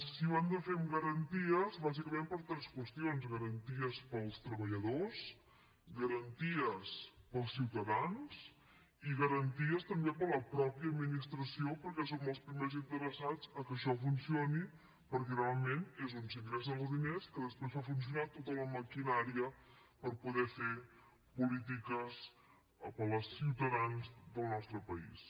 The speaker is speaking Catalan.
i ho hem de fer amb garanties bàsicament per tres qüestions garanties per als treballadors garanties per als ciutadans i garanties també per a la mateixa administració perquè som els primers interessats en que això funcioni perquè realment és on s’ingressen els diners que després fan funcionar tota la maquinària per poder fer polítiques per als ciutadans del nostre país